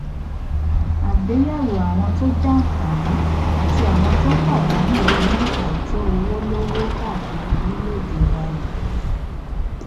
àgbéyẹwò àwọn tó jàǹfààní àti àwọn tó pàdánù nínú àìtó owó lówó káàkiri orílẹèdè wa nìyí